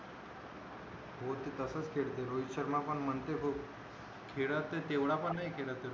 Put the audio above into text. कोहली तसच खेळतो रोहित शर्मा पण म्हणतो हो खेळत तर तेवढा पण नाही खेळत